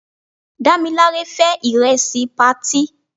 Dámilare fé ìrẹsì patí.